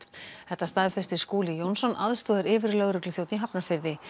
þetta staðfestir Skúli Jónsson aðstoðaryfirlögregluþjónn í Hafnarfirði